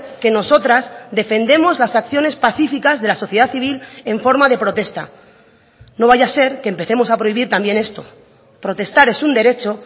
que nosotras defendemos las acciones pacificas de la sociedad civil en forma de protesta no vaya a ser que empecemos a prohibir también esto protestar es un derecho